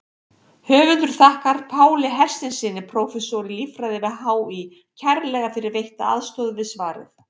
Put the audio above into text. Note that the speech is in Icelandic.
Höfundur þakkar Páli Hersteinssyni, prófessor í líffræði við HÍ kærlega fyrir veitta aðstoð við svarið.